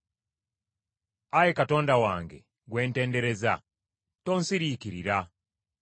Ayi Katonda wange gwe ntendereza, tonsiriikirira.